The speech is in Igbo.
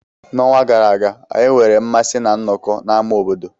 N'ọnwa gara aga, anyị nwere mmasị ná nnọkọ n'ámá obodo.